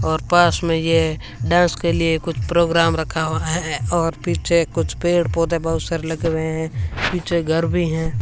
और पास में ये डांस के लिए कुछ प्रोग्राम रखा हुआ है और पीछे कुछ पेड़ पौधे बहुत सारे लग रहे हैं पीछे घर भी हैं।